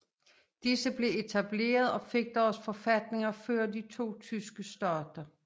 Disse blev etableret og fik deres forfatninger før de to tyske stater